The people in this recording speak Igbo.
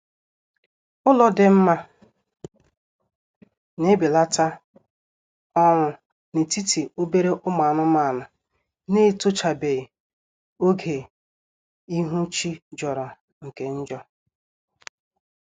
Ụlọ dị mma na-ebelata ọnwụ na-etiti obere ụmụ anụmanụ na-etochabeghi oge ihu chi jọrọ nke njọ